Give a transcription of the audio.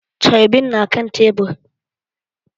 Carbin na kan tebur